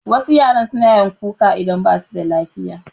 Wasu yaran suna yawan kuka idan basu da lafiya